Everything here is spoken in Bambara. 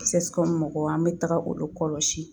mɔgɔw an bɛ taga olu kɔlɔsi